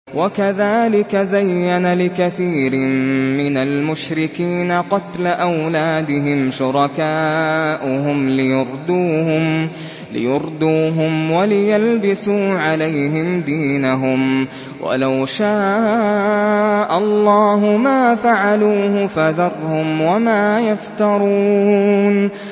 وَكَذَٰلِكَ زَيَّنَ لِكَثِيرٍ مِّنَ الْمُشْرِكِينَ قَتْلَ أَوْلَادِهِمْ شُرَكَاؤُهُمْ لِيُرْدُوهُمْ وَلِيَلْبِسُوا عَلَيْهِمْ دِينَهُمْ ۖ وَلَوْ شَاءَ اللَّهُ مَا فَعَلُوهُ ۖ فَذَرْهُمْ وَمَا يَفْتَرُونَ